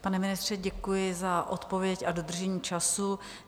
Pane ministře, děkuji za odpověď a dodržení času.